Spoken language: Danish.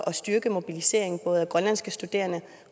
styrke mobiliseringen både af grønlandske studerende